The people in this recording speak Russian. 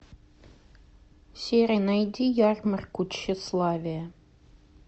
сири найди ярмарку тщеславия